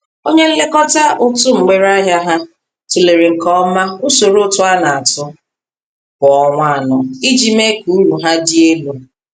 Onye nlekọta ụtụ mgbere ahia ha, tụlere nke ọma usoro ụtụ a na-atụ kwa ọnwa anọ iji mee ka uru ha dị elu